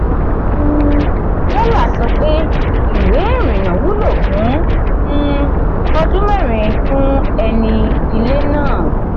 um pella sọ pé ìwé ìrìnnà wúlò fún um ọdún mẹ́rin fún ẹni ilé náà.